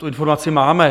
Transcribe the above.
Tu informaci máme.